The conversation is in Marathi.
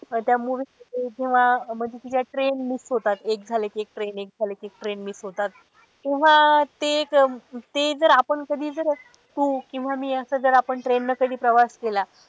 त्या movie मध्ये जेव्हा म्हणजे तिच्या train miss होतात एक झालं कि एक train एक झालं कि एक train miss होतात. तेव्हा ते एक ते जर आपण कधी जर तू किंवा मी असं जर आपण train ने कधी प्रवास केला.